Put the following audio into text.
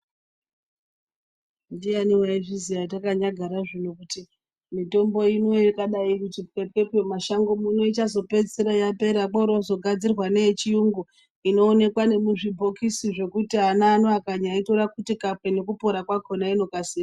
Ndiyani ayizviziva takanyagara zvino kuti mitombo ino yakadai kuto pepepe mumashango ichazopedzisira yapera kotogadzirwa neyecirungu inoonekwa nemuzvibhokisi .